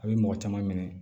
A bɛ mɔgɔ caman minɛ